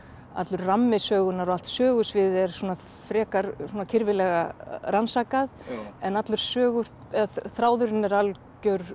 allur rammi sögunnar og allt sögusviðið er svona frekar kyrfilega rannsakað en allur söguþráðurinn er algjör